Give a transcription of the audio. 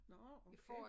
Nå okay